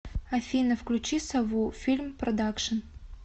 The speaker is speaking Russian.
афина включи сову фильм продакшин